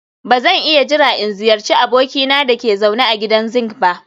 Ba zan iya jira in ziyarci abokina da ke zaune a gidan zinc ba